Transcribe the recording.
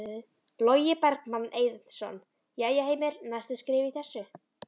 Logi Bergmann Eiðsson: Jæja Heimir, næstu skref í þessu?